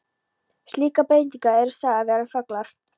Slíkar breytingar eru sagðar vera þöglar.